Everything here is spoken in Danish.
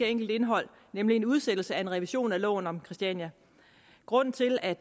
enkelt indhold nemlig en udsættelse af en revision af loven om christiania grunden til at